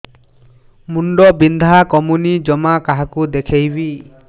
ମୁଣ୍ଡ ବିନ୍ଧା କମୁନି ଜମା କାହାକୁ ଦେଖେଇବି